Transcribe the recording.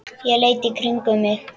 Ég leit í kringum mig.